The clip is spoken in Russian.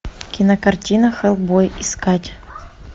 кинокартина хеллбой искать